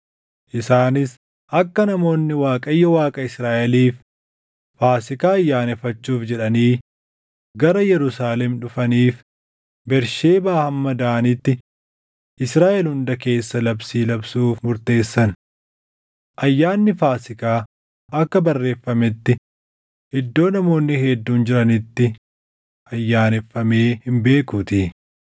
Isaanis akka namoonni Waaqayyo Waaqa Israaʼeliif Faasiikaa ayyaaneffachuuf jedhanii gara Yerusaalem dhufaniif Bersheebaa hamma Daanitti Israaʼel hunda keessa labsii labsuuf murteessan. Ayyaanni Faasiikaa akka barreeffametti iddoo namoonni hedduun jiranitti ayyaaneffamee hin beekuutii.